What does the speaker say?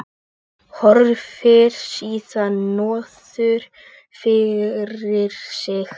Horfir síðan niður fyrir sig.